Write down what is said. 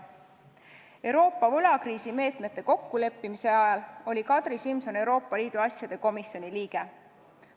Euroopa võlakriisimeetmete kokkuleppimise ajal oli Kadri Simson Euroopa Liidu asjade komisjoni liige.